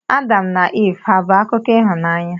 Adam na Iv hà bụ akụkọ ịhụnanya?